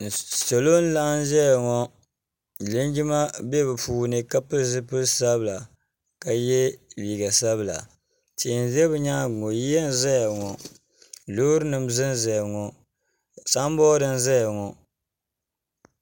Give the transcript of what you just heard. salo n laɣim za ŋɔ linjima bɛ be puuni ka piɛli zipiɛlisabila ka yɛ liga sabila tihi n za be nyɛŋa ŋɔ yiya zaya ŋɔ lori nim zan zaya ŋɔ sanburi za ŋɔ